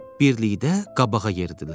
Birlikdə qabağa yeridilər.